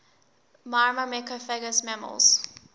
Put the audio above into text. myrmecophagous mammals